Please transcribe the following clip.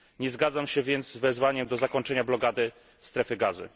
Nie zgadzam się więc z wezwaniem do zakończenia blokady Strefy Gazy.